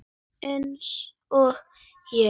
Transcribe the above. Eins og ég?